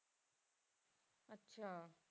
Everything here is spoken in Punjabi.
ਅੱਛਾ।